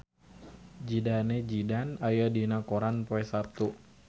Zidane Zidane aya dina koran poe Saptu